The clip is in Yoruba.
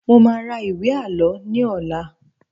Mo máa ra ìwé Àlọ́ ní ọ̀la.